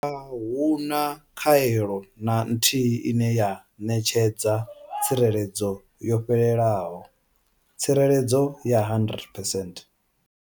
Ahuna khaelo na nthihi ine ya ṋetshedza tsireledzo yo fhelelaho tsireledzo ya 100 percent.